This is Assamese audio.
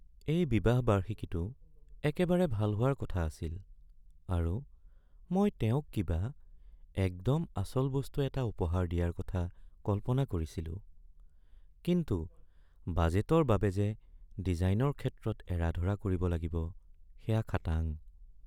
এই বিবাহ বাৰ্ষিকীটো একেবাৰে ভাল হোৱাৰ কথা আছিল আৰু মই তেওঁক কিবা একদম আচল বস্তু এটা উপহাৰ দিয়াৰ কথা কল্পনা কৰিছিলোঁ। কিন্তু বাজেটৰ বাবে যে ডিজাইনৰ ক্ষেত্ৰত এৰা-ধৰা কৰিব লাগিব সেয়া খাটাং ।